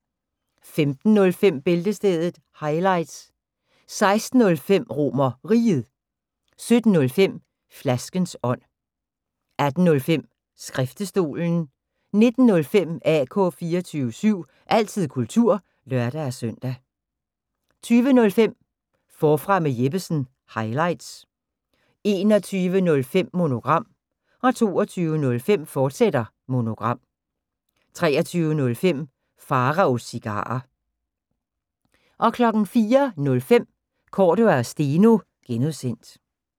15:05: Bæltestedet – highlights 16:05: RomerRiget 17:05: Flaskens ånd 18:05: Skriftestolen 19:05: AK 24syv – altid kultur (lør-søn) 20:05: Forfra med Jeppesen – highlights 21:05: Monogram 22:05: Monogram, fortsat 23:05: Pharaos Cigarer 04:05: Cordua & Steno (G)